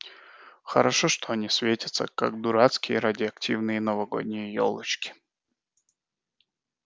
хорошо что они светятся как дурацкие радиоактивные новогодние ёлочки